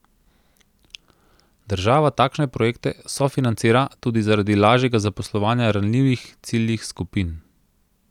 Država takšne projekte sofinancira tudi zaradi lažjega zaposlovanja ranljivih ciljnih skupin.